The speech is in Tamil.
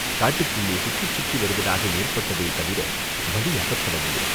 காட்டுக்குள்ளே சுற்றிச் சுற்றி வருவதாக ஏற்பட்டதே தவிர வழி அகப்படவில்லை.